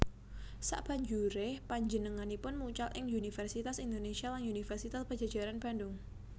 Sabanjuré panjenenganipun mucal ing Universitas Indonesia lan Universitas Padjadjaran Bandung